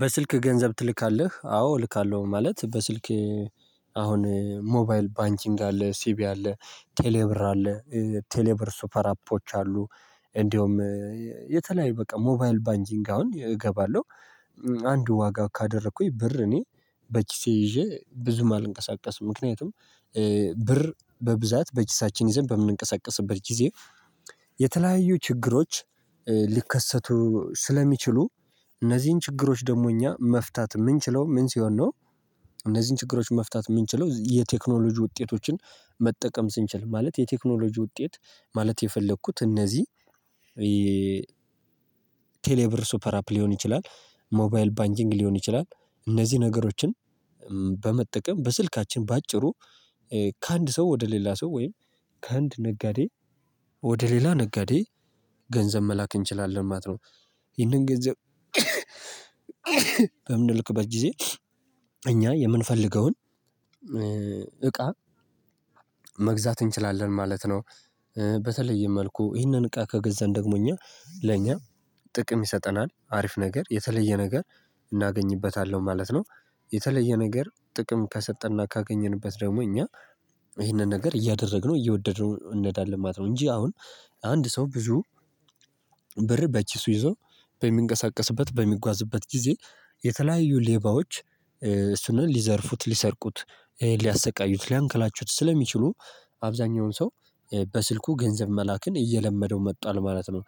በስልክ ገንዘብ ትልካለህ አዎ እልካለሁ ማለት በስልክ አሁን ሞባይል ባንኪንግ አለ ሲቪ አለ ቴሌብር አለ። ቴሌብር ሱፐር አፖች አሉ። እንደውም የተለያዩ በቃ ሞባይል ባንኪንግ አሁን እገባለሁ። አንድ ዋጋ ካደረኩኝ ብር እኔ በኪሴ ይዤ ብዙም አልንቀሳቀስም። ምክንያቱም ብር በብዛት በኪሳችን ይዘን በምንንቀሳቀስበት ጊዜ የተለያዩ ችግሮች ሊከሰቱ ስለሚችሉ እነዚህን ችግሮች ደግሞ እኛ መፍታት የምንችለው ምን ሲሆን ነው? እነዚህን ችግሮች መፍታት የምንችለው የቴክኖሎጂ ውጤቶችን መጠቀም ስንችል ማለት የቴክኖሎጂ ውጤት ማለት የፈለኩት እነዚህ ቴሌብር ሱፐር አፕ ሊሆን ይችላል። ሞባይል ባንኪንግ ሊሆን ይችላል እነዚህ ነገሮችን በመጠቀም በስልካችን በአጭሩ ከአንድ ሰው ወደ ሌላ ሰው ወይም ከአንድ ነጋዴ ወደ ሌላ ነጋዴ ገንዘብ መላክ እንችላለን ማለት ነው። ይህንን ገንዘብ በምንልክበት ጊዜ እኛ የምንፈልገውን እቃ መግዛት እንችላለን ማለት ነው። በተለየ መልኩ ይህንን እቃ ከገዛን ደግሞ እኛ ለእኛ ጥቅም ይሰጠናል አሪፍ ነገር የተለየ ነገር እናገኝበታለሁ ማለት ነው። የተለየ ነገር ጥቅም ከሰጠና ካገኘንበት ደግሞ እኛ ይሄንን ነገር እያደረግነው እየወደድነው እኔዳለን ማለት ነው። እንጂ አሁን አንድ ሰው ብዙ ብር በኪሱ ይዞ በሚንቀሳቀስበት በሚጓዝበት ጊዜ የተለያዩ ሌባዎች እሱን ሊዘርፉት ሊሰርቁት ሊያሰቃዩት ሊያንከላቹት ስለሚችሉ አብዛኛውን ሰው በስልኩ ገንዘብ መላክን እየለመደው መጧል ማለት ነው።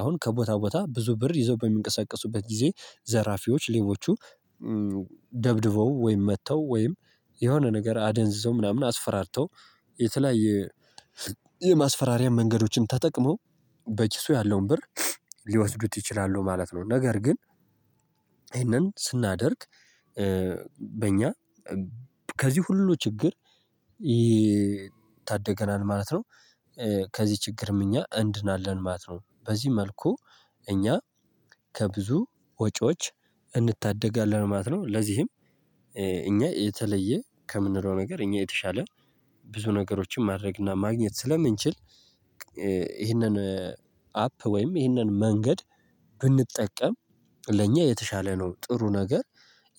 አሁን ከቦታ ቦታ ብዙ ብር ይዘው በሚንቀሳቀሱበት ጊዜ ዘራፊዎች ሌቦቹ ደብድበው ወይም መተው ወይም የሆነ ነገር አደንዝዘው ምናምን አስፈራርተው የተለያየ የማስፈራሪያ መንገዶችን ተጠቅሞ በኪሱ ያለውን ብር ሊወስዱት ይችላሉ ማለት ነው። ነገር ግን ይሄንን ስናደርግ በእኛ ከዚህ ሁሉ ችግር ይታደገናል ማለት ነው። ከዚህ ችግርም እኛ እንድናለን ማለት ነው። በዚህ መልኩ እኛ ከብዙ ወጪዎች እንታደጋለን ማለት ነው። ለዚህም እኛ የተለየ ከምንለው ነገር እኛ የተሻለ ብዙ ነገሮችን ማድረግና ማግኘት ስለምንችል ይህንን አፕ ወይም ይህንን መንገድ ብንጠቀም ለእኛ የተሻለ ነው ጥሩ ነገር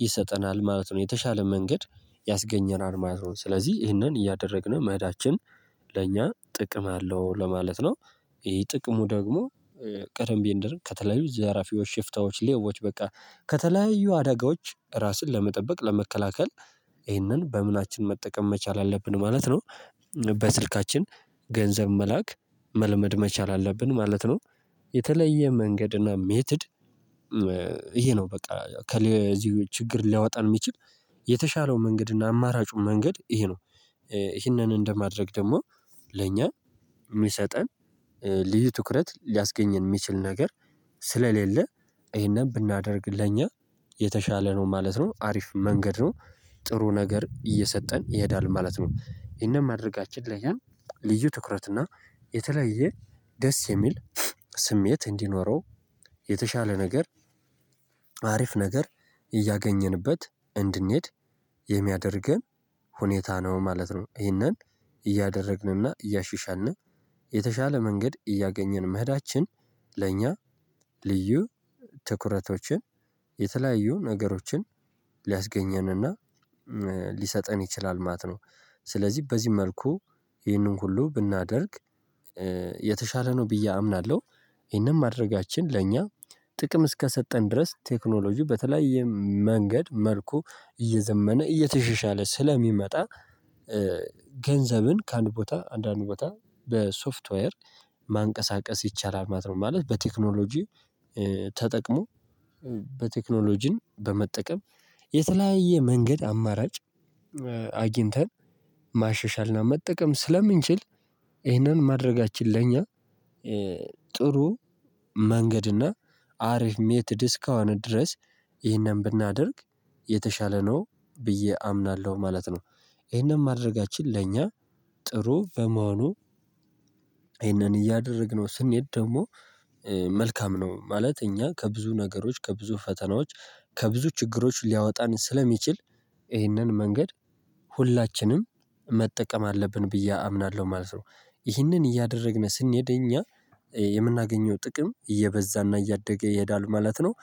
ይሰጠናል ማለት ነው። የተሻለ መንገድ ያስገኘናል ማለት ነው። ስለዚህ ይህንን እያደረግን መሄዳችን ለእኛ ጥቅም አለው ለማለት ነው። ይሄ ጥቅሙ ደግሞ ቀደም ቢንደር ከተለያዩ ዘራፊዎች ሽፍታዎች ሌቦች በቃ ከተለያዩ አደጋዎች ራስን ለመጠበቅ ለመከላከል ይህንን በምናችን መጠቀም መቻል አለብን ማለት ነው። በስልካችን ገንዘብ መላክ መለመድ መቻል አለብን ማለት ነው። የተለየ መንገድ እና ሜትድ ይሄ ነው በቃ ከዚሁ ችግር ሊያወጣን የሚችል የተሻለው መንገድ እና አማራጩ መንገድ ይሄ ነው። ይሄንን እንደማድረግ ደግሞ ለእኛ የሚሰጠን ልዩ ትኩረት ሊያስገኝን የሚችል ነገር ስለሌለ ይሄንን ብናደርግ ለእኛ የተሻለ ነው ማለት ነው። አሪፍ መንገድ ነው ጥሩ ነገር እየሰጠን ይሄዳል ማለት ነው። የህንን ማድረጋችን ላኛ ያን ልዩ ትኩረት እና የተለየ ደስ የሚል ስሜት እንዲኖረው የተሻለ ነገር አሪፍ ነገር እያገኘንበት እንድንሄድ የሚያደርገን ሁኔታ ነው ማለት ነው። ይህንን እያደረግንና እያሽሻልን የተሻለ መንገድ እያገኘን መሄዳችን ለእኛ ልዩ ትኩረቶችን የተለያዩ ነገሮችን ሊያስገኘንና ሊሰጠን ይችላል ማት ነው። ስለዚህ በዚህ መልኩ ይህንን ሁሉ ብናደርግ የተሻለ ነው ብዬ አምናለሁ። ይሄንን ማድረጋችን ለእኛ ጥቅም እስከሰጠን ድረስ ቴክኖሎጂው በተለያየ መንገድ መልኩ እየዘመነ እየተሻሻለ ስለሚመጣ ገንዘብን ከአንድ ቦታ አንድ አንድ ቦታ በሶፍትዌር ማንቀሳቀስ ይቻላል ማለት ነው። ማለት በቴክኖሎጂ ተጠቅሞ በቴክኖሎጂን በመጠቀም የተለያየ መንገድ አማራጭ አግኝተን ማሻሻልና መጠቀም ስለምንችል። ይህንን ማድረጋችን ለኛ ጥሩ መንገድና አሪፍ ሜትድ እስከሆነ ድረስ ይህንን ብናደርግ የተሻለ ነው ብዬ አምናለሁ ማለት ነው። ይህንን ማድረጋችን ለእኛ ጥሩ በመሆኑ ይሄንን እያደረግነው ስንሄድ ደግሞ መልካም ነው ማለት እኛ ከብዙ ነገሮች ከብዙ ፈተናዎች ከብዙ ችግሮች ሊያወጣን ስለሚችል ይሄንን መንገድ ሁላችንም መጠቀም አለብን ብዬ አምናለሁ ማለት ነው። ይሄንን እያደረግን ስንሄድ እኛ የምናገኘው ጥቅም እየበዛና እያደገ ይሄዳል ማለት ነው።